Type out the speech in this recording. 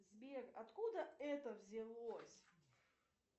сбер откуда это взялось